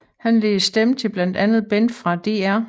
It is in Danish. Han lægger stemme til blandt andet Ben fra Dr